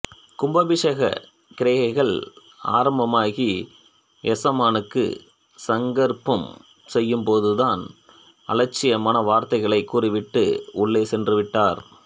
கும்பாபிஷேகக் கிரியைகள் ஆரம்பமாகி எசமானுக்கு சங்கற்பம் செய்யும் போதுதான் தான் அலட்சியமான வார்த்தைகளைக் கூறிவிட்டு உள்ளே சென்றுவிட்டார்